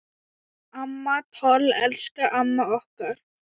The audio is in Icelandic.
Amma Toll, elsku amma okkar.